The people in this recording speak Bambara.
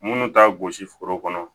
Minnu t'a gosi foro kɔnɔ